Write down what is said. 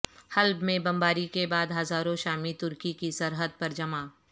حلب میں بمباری کے بعد ہزاروں شامی ترکی کی سرحد پر جمع